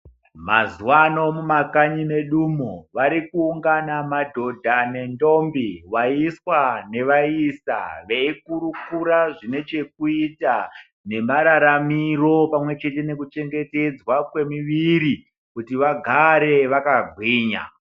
Masuwa ano mumakanyi medu umo varikuangana madhodha nentombi vaiswa nevaisa veikurukura zvine chekuita nemararamiro pamwechete nekuchengetedzwa kwemuviri kuti vagare vakagwinya.